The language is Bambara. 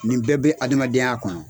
Nin bɛɛ bɛ adamadenya kɔnɔ.